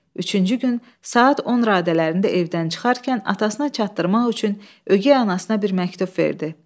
Üçüncü gün saat 10 radələrində evdən çıxarkən atasına çatdırmaq üçün ögey anasına bir məktub verdi.